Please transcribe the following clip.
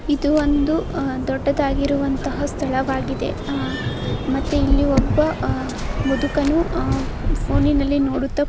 ಇದು ಒಂದು ದೊಡ್ಡದಾಗಿರುವಂತಹ ಸ್ಥಳವಾಗಿದೆ ಅಹ್ ಮತ್ತೆ ಇಲ್ಲಿ ಒಬ್ಬಅಹ್ ಮುದುಕನು ಅಹ್ ಫೋನಿನಲ್ಲಿ ನೋಡುತ್ತಾ--